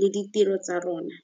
le ditiro tsa rona.